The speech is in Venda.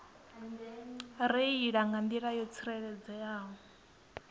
reila nga nḓila yo tsireledzeaho